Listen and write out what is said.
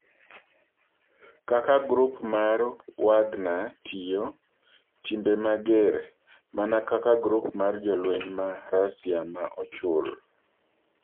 "Kaka Grup mar Wagner Tiyo """Timbe Mager""" Mana kaka Grup mar Jolweny ma Rasia ma Ochul"